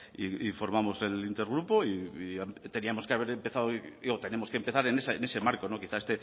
y formamos el intergrupo y tenemos que empezar en ese marco quizás